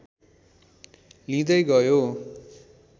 लिंदै गयो